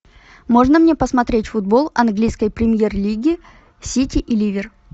можно мне посмотреть футбол английской премьер лиги сити и ливер